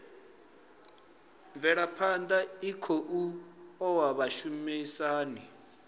mvelaphana i khou oa vhashumisani